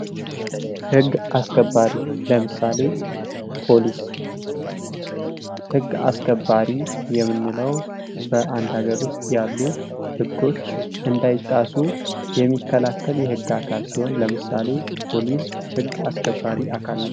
ህግ አስከባሪ ለምሳሌ ፖሊስ ህግ አስከባሪ የምንለው በአንድ ሃገር ውስጥ ያሉ ህጐች እንዳይጣሱ የሚከላከል የህግ አካል ሲሆን ለምሳሌ ፖሊስ የህግ አካል ነው።